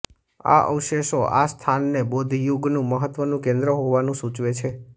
આ અવશેષો આ સ્થાનને બૌદ્ધયુગનું મહત્વનું કેન્દ્ર હોવાનું સૂચવે છે